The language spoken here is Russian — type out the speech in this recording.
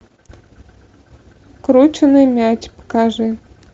крученый мяч покажи